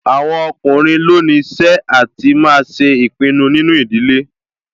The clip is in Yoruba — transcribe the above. Àwọn ọkùnrin ló ní iṣẹ́ àti máa ṣe ìpinnu nínú ìdílé